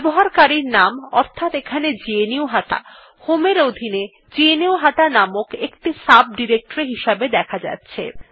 ব্যবহারকারীর নাম অর্থাৎ এখানে গ্নুহাটা home এর অধীনে গ্নুহাটা নামক একটি সাব ডিরেক্টরী হিসাবে দেখা যাচ্ছে